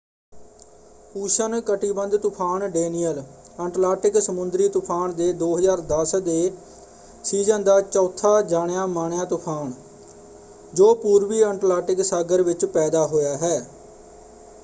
ਉਸ਼ਣ-ਕਟਿਬੰਧ ਤੂਫ਼ਾਨ Danielle Atlantic ਸਮੁੰਦਰੀ ਤੂਫ਼ਾਨ ਦੇ 2010 ਦੇ ਸੀਜ਼ਨ ਦਾ ਚੌਥਾ ਜਾਣਿਆ ਮਾਣਿਆ ਤੂਫ਼ਾਨ ਜੋ ਪੂਰਵੀ ਅੰਟਲਾਟਿਕ ਸਾਗਰ ਵਿੱਚ ਪੈਦਾ ਹੋਇਆ ਹੈ।